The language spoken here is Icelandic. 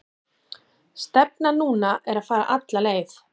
Stefnan núna er að fara alla leið.